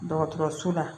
Dɔgɔtɔrɔso la